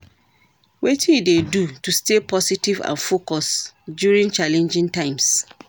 Wetin you dey do to stay positive and focused during challenging times?